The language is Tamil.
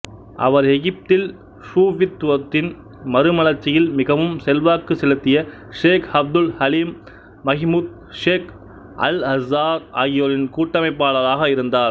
அவர் எகிப்தில் சூஃபித்துவத்தின் மறுமலர்ச்சியில் மிகவும் செல்வாக்கு செலுத்திய Sheikh Abdul Halim Mahmoud Sheikh Al Azhar ஆகியோரின் கூட்டமைப்பாளராக இருந்தார்